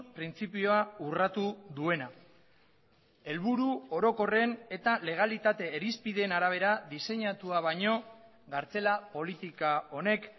printzipioa urratu duena helburu orokorren eta legalitate irizpideen arabera diseinatua baino kartzela politika honek